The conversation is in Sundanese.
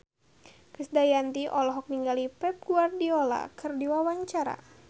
Krisdayanti olohok ningali Pep Guardiola keur diwawancara